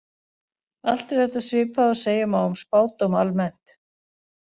Allt er þetta svipað og segja má um spádóma almennt.